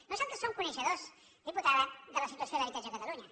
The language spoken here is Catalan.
nosaltres som coneixedors senyora diputada de la situació de l’habitatge a catalunya